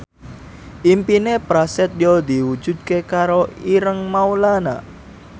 impine Prasetyo diwujudke karo Ireng Maulana